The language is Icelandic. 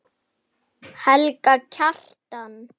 Minning Lilju mun lifa.